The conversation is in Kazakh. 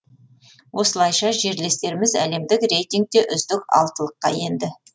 осылайша жерлестеріміз әлемдік рейтингте үздік алтылыққа енді